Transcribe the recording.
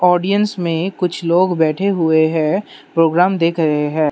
Audience में कुछ लोग बैठे हुए है प्रोग्राम देख रहे है।